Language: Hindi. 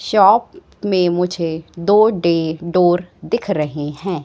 शॉप में मुझे दो डे डोर दिख रहे हैं।